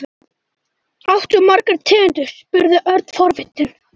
Áttu margar tegundir? spurði Örn forvitinn.